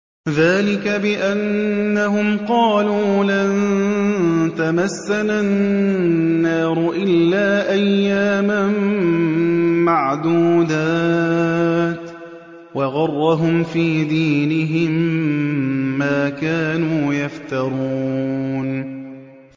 ذَٰلِكَ بِأَنَّهُمْ قَالُوا لَن تَمَسَّنَا النَّارُ إِلَّا أَيَّامًا مَّعْدُودَاتٍ ۖ وَغَرَّهُمْ فِي دِينِهِم مَّا كَانُوا يَفْتَرُونَ